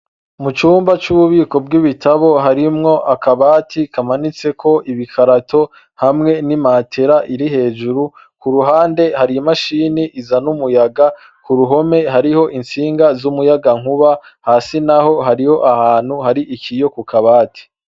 Mucumba c’ububiko bw’ibitabo harimwo akabati kamanitseko ibikarato hamwe n’imatera iri hejuru, kuruhande hari imashini izana umuyaga kuruhome hariho intsinga z’umuyagankuba, hasi naho hariho ahantu hari ikiyo kukabati.